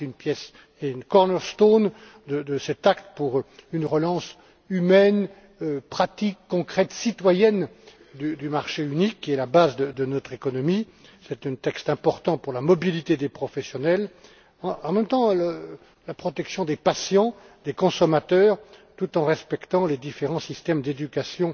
C'est une pièce et une corner stone de cet acte pour une relance humaine, pratique, concrète et citoyenne du marché unique, qui est la base de notre économie. C'est un texte important pour la mobilité des professionnels et, en même temps, la protection des patients et des consommateurs, dans le respect des différents systèmes d'éducation